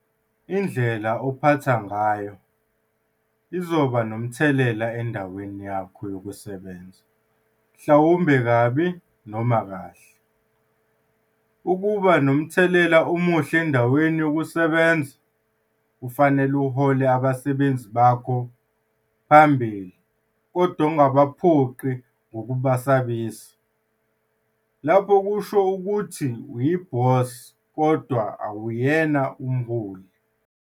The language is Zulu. Indlela ophatha ngayo izoba nomthelela endaweni yakho yokusebenza mhlawumbe kabi noma kahle. Ukuba nomthelela omuhle endaweni yokusebenza kufanele uhole abasebenzi bakho phambili kodwa ungabaphoqi ngokubesabisa. Lapho kusho ukuthi uyibhosi kodwa awuyena umholi.